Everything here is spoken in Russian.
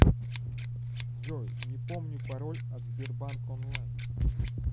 джой не помню пароль от сбербанк онлайн